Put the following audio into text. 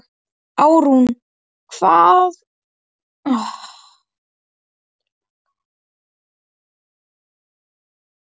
Árún, hvaða mánaðardagur er í dag?